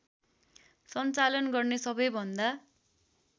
सञ्चालन गर्ने सबैभन्दा